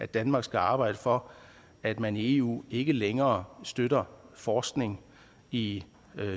danmark skal arbejde for at man i eu ikke længere støtter forskning i